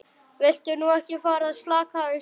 Viltu nú ekki fara að slaka aðeins á!